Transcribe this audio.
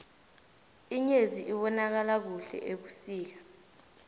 inyezi ibonakala kuhle ebusika